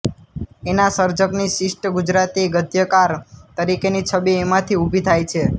એના સર્જકની શિષ્ટ ગુજરાતી ગદ્યકાર તરીકેની છબી એમાંથી ઊભી થાય છે